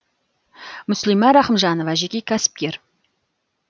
мүслима рахымжанова жеке кәсіпкер